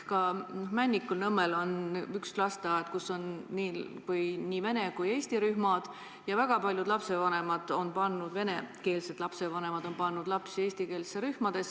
Ka Tallinnas Männikul on üks lasteaed, kus on nii vene kui ka eesti rühmad ja väga paljud venekeelsed lapsevanemad on pannud lapsi eestikeelsetesse rühmadesse.